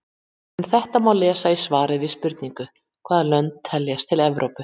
Um þetta má lesa í svari við spurningunni Hvaða lönd teljast til Evrópu?